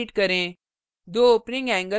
अब comma delete करें